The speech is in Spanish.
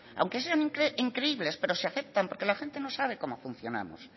aunque sean increíbles pero se aceptan porque la gente no sabe cómo funcionamos